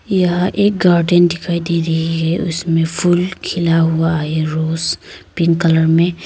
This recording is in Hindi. यह एक गार्डन दिखाई दे रही है उसमें फूल खिला हुआ है रोज पिंक कलर में।